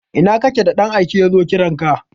Ina kake da ɗan aike yazo kiranka?